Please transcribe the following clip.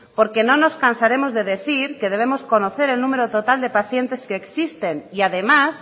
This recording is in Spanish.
porque no nos cansaremos de decir que debemos conocer el número total de pacientes que existen y además